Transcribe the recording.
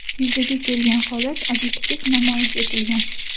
Yuzaga kelgan holat obyektiv namoyish etilgan.